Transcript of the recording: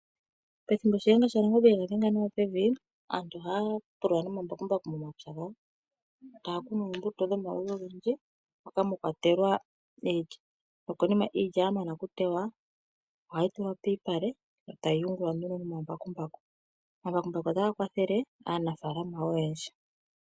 Shiyenga shaNangombe pethimbo e ga dhenga pevi, aantu ohaya pulula nomambakumbaku momapya gawo, taya kunu oombuto dhomaludhi ogendji moka mwa kwatelwa iilya nokonima iilya ya teywa ohayi tulwa pomalupale e tayi yungulwa nduno nomambakumbaku. Omambakumbaku otaga kwathele aanafaalama oyendji.